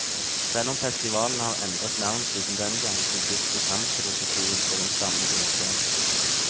Selv om festivalen har endret navn siden den gang, bygges programfilosofien på den samme grunnsten.